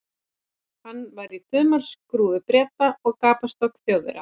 Hann var í þumalskrúfu Breta og gapastokki Þjóðverja.